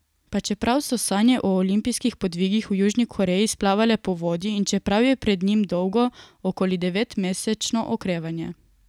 Pa čeprav so sanje o olimpijskih podvigih v Južni Koreji splavale po vodi in čeprav je pred njim dolgo, okoli devetmesečno okrevanje.